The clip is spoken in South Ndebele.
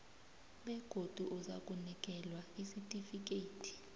begodu uzakunikelwa isitifikhethi